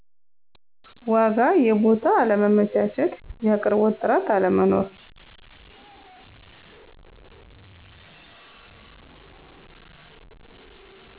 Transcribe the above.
ዎጋ የቡታ አለመመቸት ያቅርቦት ጥርት አለመኖር።